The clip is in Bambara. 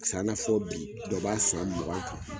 Paseke an na fɔ bi dɔ b'a san mugan kan.